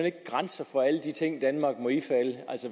ikke grænser for alle de ting danmark må ifalde